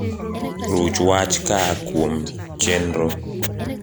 ruch wach kaakuom chenro